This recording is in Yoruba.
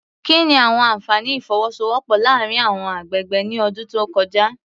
Kí ni àwọn àfààní ìfọwọ́sowọ́pọ̀ láàárín àwọn agbègbè ní ọdún tó kọjá?